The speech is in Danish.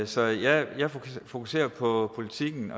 så jeg fokuserer på politikken